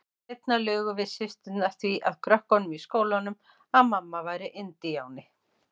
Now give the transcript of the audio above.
Seinna lugum við systurnar því að krökkunum í skólanum að mamma væri indíáni.